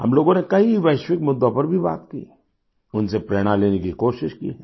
हम लोगों ने कई वैश्विक मुद्दों पर भी बात की उनसे प्रेरणा लेने की कोशिश की है